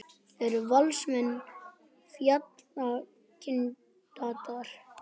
Eru Valsmenn fallkandídatar?